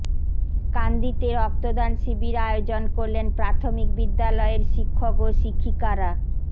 কান্দিতে রক্তদান শিবির আয়োজন করলেন প্রাথমিক বিদ্যালয়ের শিক্ষক ও শিক্ষিকারা